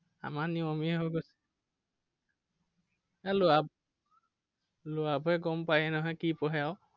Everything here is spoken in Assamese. আমাৰ নিয়মেই হৈ গৈছে আৰু। এৰ ল'ৰা ল'ৰাবোৰে গম পায়েই নহয় কি পঢ়ে আৰু।